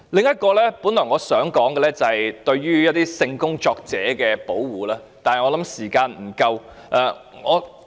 我本來還想談談對性工作者的保護，但相信時間不足。